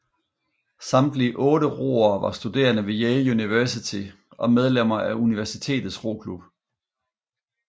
Samtlige otte roere var studerende ved Yale University og medlemmer af universitets roklub